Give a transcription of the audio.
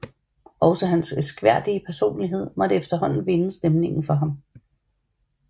Også hans elskværdige personlighed måtte efterhånden vinde stemningen for ham